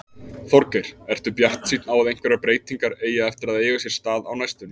Þorgeir: Ertu bjartsýnn á að einhverjar breytingar eigi eftir að eiga sér stað á næstunni?